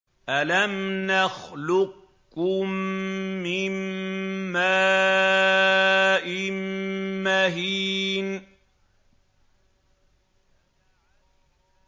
أَلَمْ نَخْلُقكُّم مِّن مَّاءٍ مَّهِينٍ